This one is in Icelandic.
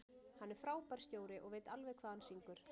Hann er frábær stjóri og veit alveg hvað hann syngur.